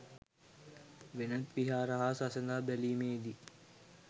වෙනත් විහාර හා සසඳා බැලීමේදී